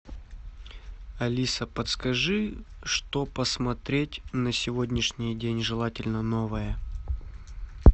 алиса подскажи что посмотреть на сегодняшний день желательно новое